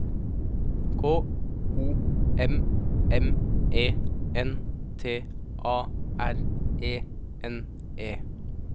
K O M M E N T A R E N E